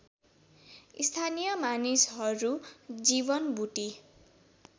स्थानीय मानिसहरू जीवनबुटी